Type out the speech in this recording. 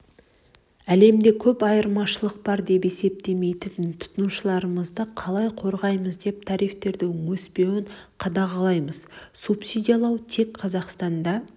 әлемде көп айырмашылық бар деп есептемейтін тұтынушыларымызды қалай қорғаймыз деп тарифтердің өспеуін қадағалаймыз субсидиялау тек қазақстанда